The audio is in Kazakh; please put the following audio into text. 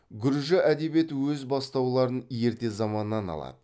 гүржі әдебиеті өз бастауларын ерте заманнан алады